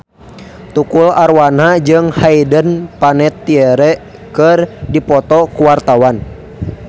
Tukul Arwana jeung Hayden Panettiere keur dipoto ku wartawan